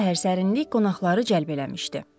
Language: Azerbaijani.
Duzlu təhər sərinlik qonaqları cəlb eləmişdi.